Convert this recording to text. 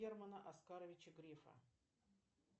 германа оскаровича грефа